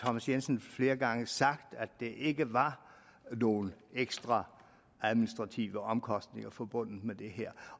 thomas jensen flere gange sagt at der ikke var nogen ekstra administrative omkostninger forbundet med det her